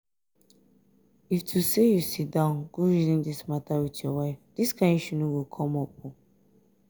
if to say you sit down go reason dis matter with your wife dis kyn issue no go come up